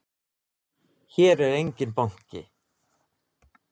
Hér er enginn banki!